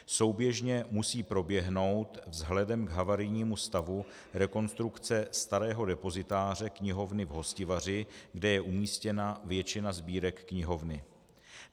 Souběžně musí proběhnout vzhledem k havarijnímu stavu rekonstrukce starého depozitáře knihovny v Hostivaři, kde je umístěna většina sbírek knihovny.